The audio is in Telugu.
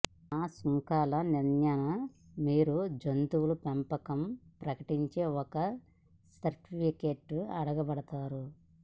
న సుంకాల నియంత్రణ మీరు మీ జంతువుల పెంపకం ప్రకటించే ఒక సర్టిఫికేట్ అడగబడతారు